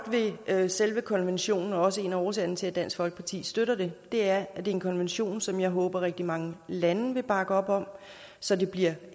ved selve konventionen og også en af årsagerne til at dansk folkeparti støtter det er at det er en konvention som jeg håber at rigtig mange lande vil bakke op om så det bliver